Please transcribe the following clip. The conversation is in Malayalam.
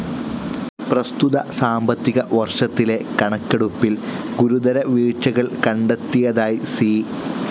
പ്രസ്തുത സാമ്പത്തിക വർഷത്തിലെ കണക്കെടുപ്പിൽ ഗുരുതര വീഴ്ച്ചകൾ കണ്ടെത്തിയതായി സി.